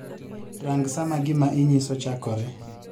Rang saa ma gima inyiso chakoree